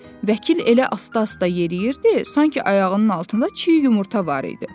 Vəkil elə asta-asta yeriyirdi, sanki ayağının altında çiy yumurta var idi.